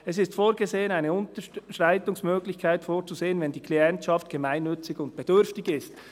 Es ist vorgesehen, eine Unterschreitungsmöglichkeit vorzusehen, wenn die Klientschaft gemeinnützig [und] bedürftig ist.»